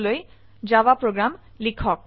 ইঙ্গিত ifএলছে স্টেটমেন্টে ব্যবহাৰ কৰক